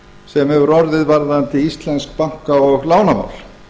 sem hefur orðið varðandi íslensk banka og lánamál